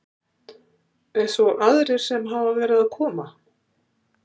Eins og aðrir sem hafa verið að koma?